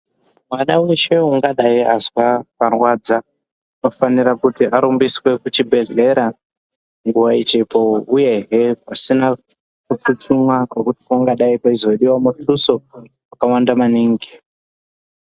Pada weshe ungadai Azwa parwadza anofanira kuti arumbiswe kuchibhedhlera nguva ichipo, uyehe pasina kutsutsumwa kwekuti pangadaiwo pachizosiwa mutuso wakawanda maningi.